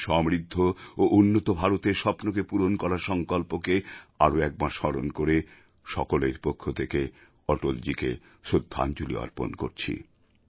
ওঁর সমৃদ্ধ ও উন্নত ভারতের স্বপ্নকে পূরণ করার সংকল্পকে আরও একবার স্মরণ করে সকলের পক্ষ থেকে অটলজীকে শ্রদ্ধাঞ্জলি অর্পণ করছি